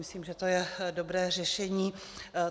Myslím, že to je dobré řešení.